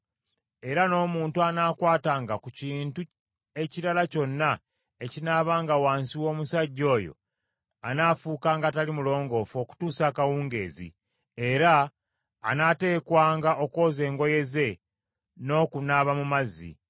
era n’omuntu anaakwatanga ku kintu ekirala kyonna ekinaabanga wansi w’omusajja oyo anaafuukanga atali mulongoofu okutuusa akawungeezi, era anaateekwanga okwoza engoye ze n’okunaaba mu mazzi.